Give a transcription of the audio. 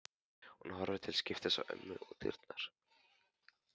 Hún horfir til skiptis á ömmu og dyrnar.